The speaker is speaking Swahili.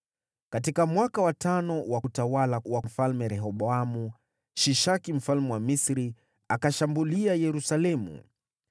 Katika mwaka wa tano wa utawala wa Mfalme Rehoboamu, Shishaki mfalme wa Misri akashambulia Yerusalemu.